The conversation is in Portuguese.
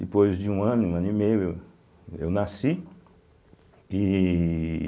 Depois de um ano, um ano e meio, eu nasci, ihh